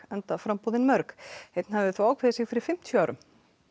enda framboð mörg einn hafði þó ákveðið sig fyrir fimmtíu árum